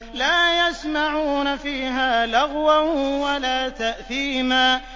لَا يَسْمَعُونَ فِيهَا لَغْوًا وَلَا تَأْثِيمًا